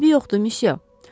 Eybi yoxdur, müsyo.